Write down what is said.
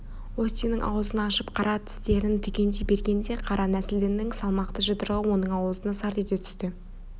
остиннің аузын ашып қарап тістерін түгендей бергенде қара нәсілдінің салмақты жұдырығы оның аузына сарт ете түсті